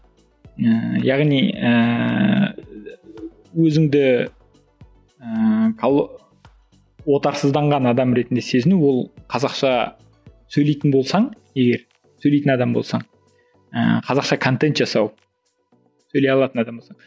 ііі яғни ііі өзіңді ііі отарсызданған адам ретінде сезіну ол қазақша сөйлейтін болсаң егер сөйлейтін адам болсаң ыыы қазақша контент жасау сөйлей алатын адам болсаң